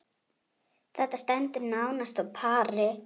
Þetta stendur nánast á pari.